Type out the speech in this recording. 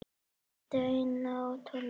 Steina og Tolla?